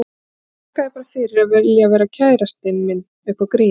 Ég þakka þér bara fyrir að vilja vera kærastinn minn upp á grín.